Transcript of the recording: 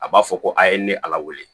A b'a fɔ ko a ye ne ala weele